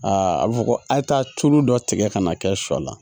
a bɛ fɔ ko ayi taa tulu dɔ tigɛ ka na kɛ sɔ la